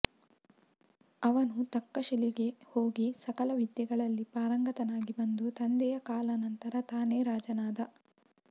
ಅವನು ತಕ್ಕಶಿಲೆಗೆ ಹೋಗಿ ಸಕಲ ವಿದ್ಯೆಗಳಲ್ಲಿ ಪಾರಂಗತನಾಗಿ ಬಂದು ತಂದೆಯ ಕಾಲಾನಂತರ ತಾನೇ ರಾಜನಾದ